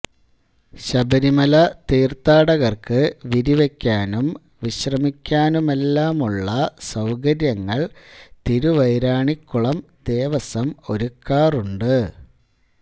ശബരിമല തീർത്ഥാടകർക്ക് വിരിവയ്ക്കാനും വിശ്രമിയ്ക്കാനുമെല്ലാമുള്ള സൌകര്യങ്ങൾ തിരുവൈരാണിക്കുളം ദേവസ്വം ഒരുക്കാറുണ്ട്